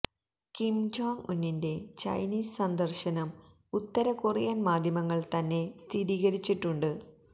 Kim Jong ഉന്നിന്റെ Chinese സന്ദർശനം ഉത്തര കൊറിയൻ മാധ്യമങ്ങൾ തന്നെ സ്ഥിരീകരിച്ചിട്ടുണ്ട്